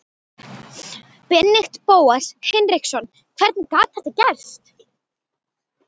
Benedikt Bóas Hinriksson Hvernig gat þetta gerst?